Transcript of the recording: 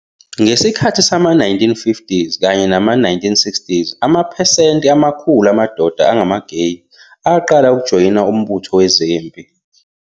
Ngesikhathi sama-1950s kanye nama-1960s amaphesenti amakhulu amadoda angama-gay aqala ukujoyina uMbutho Wezempi.